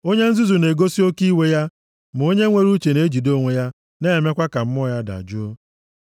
Onye nzuzu na-egosi oke iwe ya, ma onye nwere uche na-ejide onwe ya na-emekwa ka mmụọ ya dajụọ.